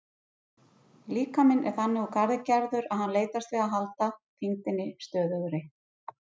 Líkaminn er þannig úr garði gerður að hann leitast við að halda þyngdinni stöðugri.